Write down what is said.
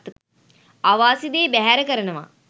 අවාසි දේ බැහැර කරනවා.